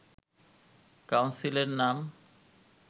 council এর নাম